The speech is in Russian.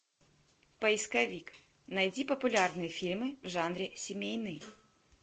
поисковик найди популярные фильмы в жанре семейный